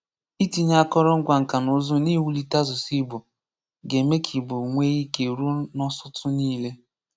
Itinye àkòrò ngwa nka na ùzù́ n’iwulite asụ̀sụ́ Ìgbò ga-eme ka Ìgbò nwee ike rùo n’ósòtù niile.